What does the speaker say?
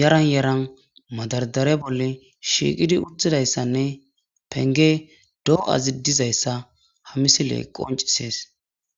yaran yaran madardare bolla shiiqidi uttidayssanne pengeni do7ayi dizayssa ha misile qoncisees